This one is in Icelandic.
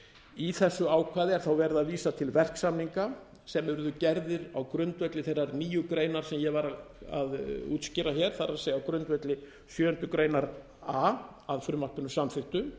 í þessu ákvæði er þá verið að vísa til verksamninga sem yrðu gerðir á grundvelli þeirrar nýju greinar sem ég var að útskýra hér það er á grundvelli sjöundu grein a að frumvarpinu samþykktu